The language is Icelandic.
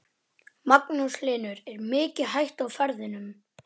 Magnús Hlynur: Er mikil hætta á ferðum?